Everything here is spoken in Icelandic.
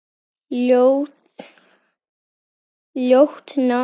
Ljótt nafn.